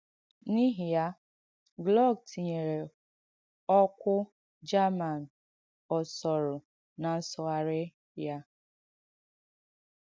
N’īhị ya, Glück tìnyèrē ọ̀kwụ German ọ̀sọ̀rụ̀ ná ǹsùghàrī ya.